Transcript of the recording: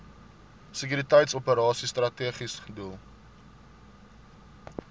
sekuriteitsoperasies strategiese doel